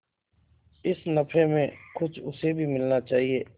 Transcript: इस नफे में कुछ उसे भी मिलना चाहिए